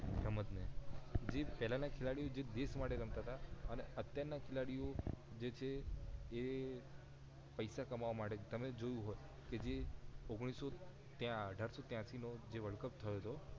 સમજ ને જે પહેલા ના ખેલાડી દેશ માટે રમતા તા અને અત્યાર ના ખેલાડી જે છે જે પૈસા કમાવા માટે તમે જોયું હોય કે જે જે વર્લ્ડ કપ થયો તો